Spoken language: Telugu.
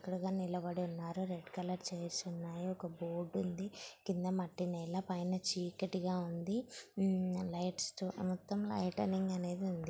ఇక్కడ అందరు నిలబడి ఉన్నారు రెడ్ కలర్ చైర్స్ ఉన్నాయి ఒక బోర్డు ఉంది. కింద మట్టి నెల పైన చీకటి గా ఉంది. ఊ లైట్స్ తో మొత్తమ్ లైటింగ్ అనేది ఉంది.